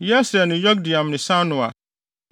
Yesreel ne Yokdeam ne Sanoa,